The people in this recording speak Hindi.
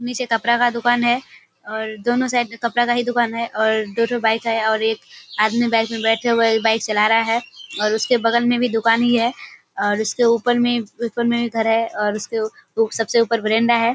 नीचे कपड़ा का दुकान है और दोनो साइड में कपड़ा का ही दुकान है और दो ठो बाइक है और एक आदमी बाइक में बैठे हुए बाइक चला रहा है और उसके बगल में भी दुकान ही है और उसके ऊपर में ऊपर में घर है और उसके उ सबसे ऊपर बरेंडा है।